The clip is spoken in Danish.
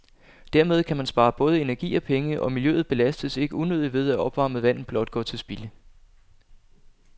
Dermed kan man spare både energi og penge, og miljøet belastes ikke unødigt ved, at opvarmet vand blot går til spilde.